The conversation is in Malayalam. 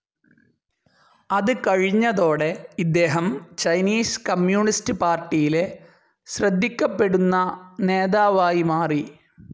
അത് കഴിഞ്ഞതോടെ ഇദ്ദേഹം ചൈനീസ് കമ്മ്യൂണിസ്റ്റ്‌ പാർട്ടിയിലെ ശ്രദ്ധിക്കപ്പെടുന്ന നേതാവായി മാറി.